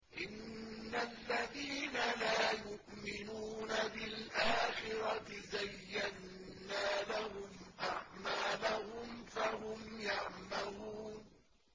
إِنَّ الَّذِينَ لَا يُؤْمِنُونَ بِالْآخِرَةِ زَيَّنَّا لَهُمْ أَعْمَالَهُمْ فَهُمْ يَعْمَهُونَ